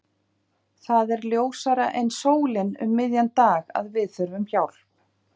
Það er ljósara en sólin um miðjan dag að við þurfum hjálp.